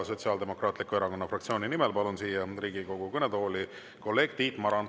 Sotsiaaldemokraatliku Erakonna fraktsiooni nimel palun siia Riigikogu kõnetooli kolleeg Tiit Marani.